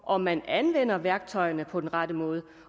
om man anvender værktøjerne på den rette måde